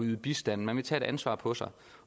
yde bistand man vil tage et ansvar på sig